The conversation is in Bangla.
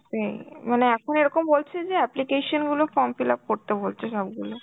হম মানে এখন এরকম বলছে যে application র গুলো form fillup করতে বলছে সবগুলো.